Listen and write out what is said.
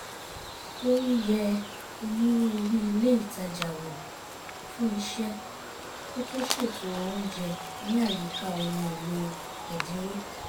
ó ń yẹ onírúurú ilé ìtajà wò fún iṣẹ́ kó tó ṣètò oúnjẹ ní àyíká ohun èlò ẹ̀dínwó